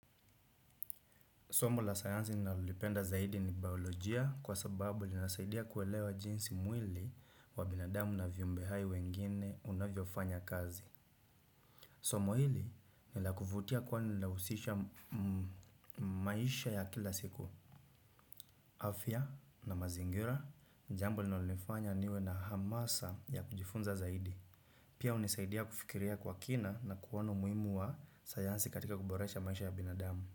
Somo la sayansi ninalolipenda zaidi ni biolojia kwa sababu linasaidia kuelewa jinsi mwili wa binadamu na viumbe hai wengine wanavyofanya kazi. Somo hili ni la kuvutia kwani linahusisha maisha ya kila siku. Afya na mazingira, jambo linalofanya niwe na hamasa ya kujifunza zaidi. Pia hunisaidia kufikiria kwa kina na kuwa na umuhimu wa sayansi katika kuboresha maisha ya binadamu.